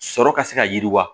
Sɔrɔ ka se ka yiriwa